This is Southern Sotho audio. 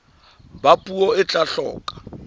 ba puo e tla hloka